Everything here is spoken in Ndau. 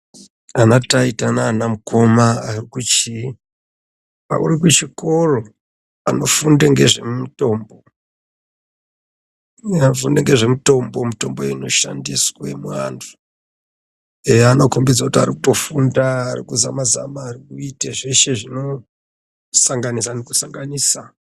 Ana taita naana mukoma arikuchii, arkuchikoro. Anofunde ngezvemutombo. Anofunde ngezvemutombo. Mitombo inoshandiswe muantu. Eya anokombidze kuti arikutofunda, arikuzama-zama, arikuite zveshe zvinosanganisa nekusanganisa.